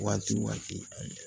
Waati waati ani